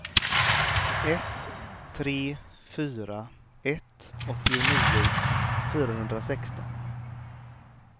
ett tre fyra ett åttionio fyrahundrasexton